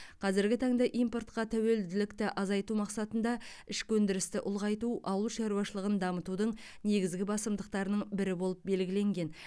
қазіргі таңда импортқа тәуелділікті азайту мақсатында ішкі өндірісті ұлғайту ауыл шаруашылығын дамытудың негізгі басымдықтарының бірі болып белгіленген